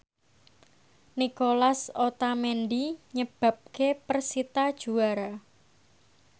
Nicolas Otamendi nyebabke persita juara